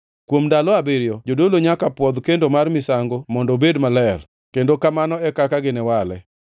Kuom ndalo abiriyo, jodolo nyaka pwodh kendo mar misango mondo obed maler; kendo kamano e kaka giniwale.